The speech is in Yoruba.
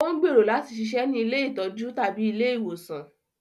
Ó n gbero lati ṣiṣẹ ni ìlé itọju tabi ìlé iwosan